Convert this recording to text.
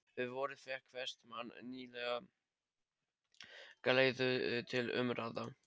Um vorið fékk Vestmann nýlega galeiðu til umráða.